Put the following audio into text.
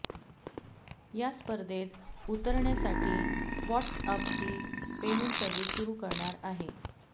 या स्पर्धेत उतरण्यासाठी व्हॉटस्अपही पेमेंट सर्विस सुरू करणार आहे